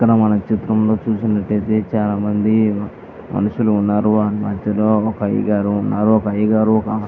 ఇక్కడ చిత్రంలో చూసినట్టయితే చాలా మంది మనుషులు ఉన్నారు. వారి మధ్యలో ఒక అయ్యగారు ఉన్నారు. ఒక అయ్యగారు --